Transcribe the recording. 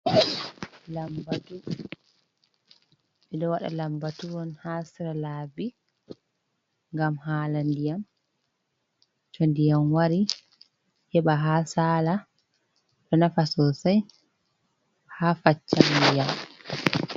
Lambatu: Ɓeɗo waɗa lambatu on haa sera labi ngam haala ndiyam. To ndiyam wari heɓa haa sala ɗo nafa sosai haa faccam ndiyam.